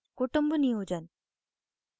kutumb niyojan